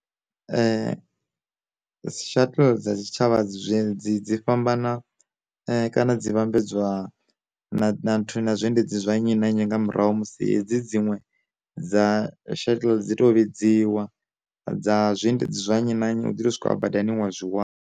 Shuttle dza tshi tshavha dzi dzi dzi fhambana kana dzi vhambedzwa na na nthu na zwiendedzi zwa nnyi na nnyi nga murahu musi hedzi dziṅwe dza shuttle dzi to vhidziwa, dza zwiendedzi zwa nnyi na nnyi u ḓo zwikona badani wa zwi wana.